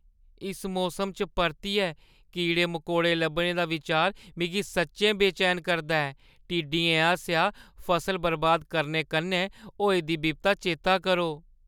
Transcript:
इस मौसम च परतियै कीड़े-मकोड़े लब्भने दा बिचार मिगी सच्चैं बेचैन करदा ऐ। टिड्डियें आसेआ फसल बर्बाद करने कन्नै होई दी बिपता चेतै करो?